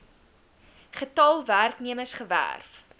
getal werknemers gewerf